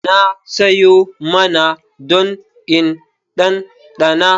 Na soya naman don in ɗanɗana.